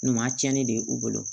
Ɲuman tiɲɛni de u bolo